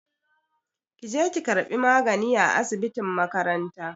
Ki je ki ƙarɓi magani a asibitin makaranta!